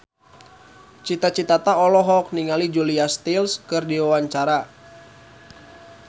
Cita Citata olohok ningali Julia Stiles keur diwawancara